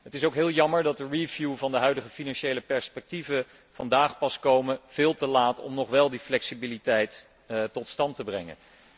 Het is ook heel jammer dat de review van de huidige financiële vooruitzichten vandaag pas komen, veel te laat om nog wel die flexibiliteit tot stand te brengen.